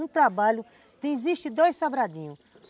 Um trabalho... Existem dois Sobradinhos.